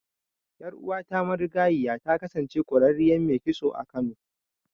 Ƴar'uwata marigayiya ta kasance ƙwararriyar mai kitso a Kano.